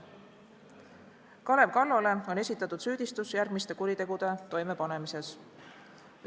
Kalev Kallole on esitatud süüdistus järgmiste kuritegude toimepanemises.